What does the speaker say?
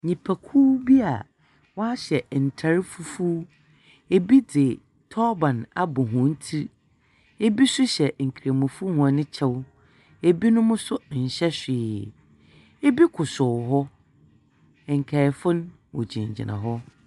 Nnipakuw bi a wɔahyɛ ntar fufuw. Ebi dze tɔɔban abɔ hɔn tsir. Ibi nso hyɛ nkramofoɔ hɔn kyɛw. Ebinom nso nhyɛ hwee. Ibi kosow hɔ, nkaefo no wɔgyinagyina hɔ.